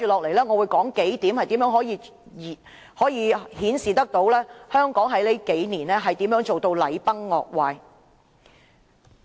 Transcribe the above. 我接着會提出數點顯示香港近幾年如何禮崩樂壞。